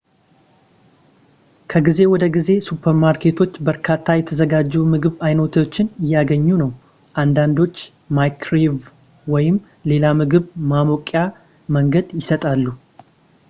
ከጊዜ ወደ ጊዜ ሱፐር ማርኬቶች በርካታ የተዘጋጁ የምግብ አይነቶችን እያገኙ ነው አንዳንዶች ማይክሮዌቭ ወይም ሌላ ምግብ ማሞቂያ መንገድ ይሰጣሉ